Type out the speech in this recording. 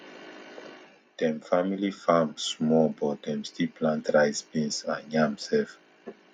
dem family farm small but dem still plant rice beans and yam self